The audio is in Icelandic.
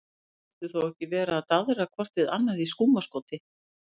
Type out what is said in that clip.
Þau skyldu þó ekki vera að daðra hvort við annað í skúmaskoti?